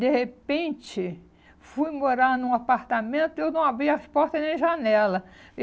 De repente, fui morar num apartamento e eu não abria a porta nem a janela.